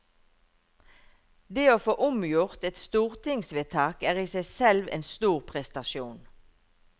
Det å få omgjort et stortingsvedtak er i seg selv en stor prestasjon.